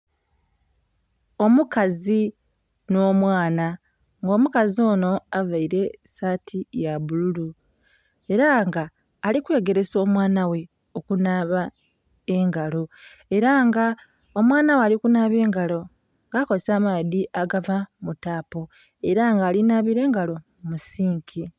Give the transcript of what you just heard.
Omukazi n'omwana nga omukazi ono avaire saati ya bbululu era nga alikwegeresa omwana ghe okunaaba engalo era nga omwana ghe ali kunaaba engalo nga akozesa amaadhi agava mu taapu era nga ali nhabira engalo mu sinki.